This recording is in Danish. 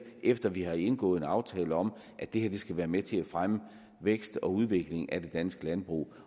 efter at vi har indgået en aftale om at det her skal være med til at fremme vækst og udvikling af det danske landbrug